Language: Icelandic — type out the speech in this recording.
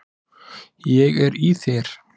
Ég er í þér.